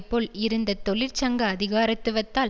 போல் இருந்த தொழிற்சங்க அதிகாரத்துவத்தால்